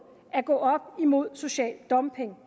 at gå op imod social dumping